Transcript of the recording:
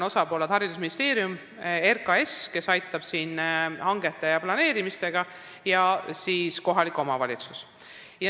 Osapooled on haridusministeerium, RKAS, kes aitab hangete ja planeerimistega, ja ka kohalik omavalitsus.